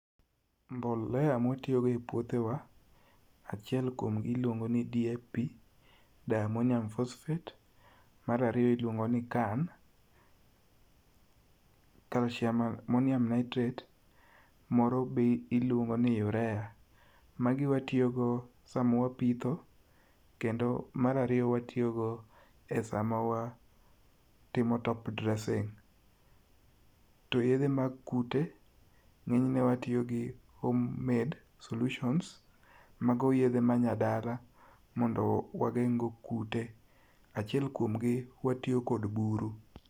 mbolea mwatiyo go e puothe wa, achiel kuomgi iluongo ni DAP diammonium phosphate. Mar ariyo iluongo ni CAN calcium ammonium nitrate. Moro be iluongo ni urea. Magi watiyo go samwapitho, kendo mar ariyo watiyo go e sama wa timo top dressing to yedhe mag kute ng'enyne watiyo gi home made solutions mago yedhe ma nyadala, mondo wageng' go kute. Achiel kuom gi watiyo kod buru